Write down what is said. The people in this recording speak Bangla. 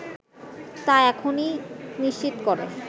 তা এখনই নিশ্চিত করে